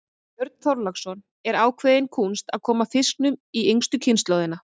Björn Þorláksson: Er ákveðin kúnst að koma fiskinum í yngstu kynslóðina?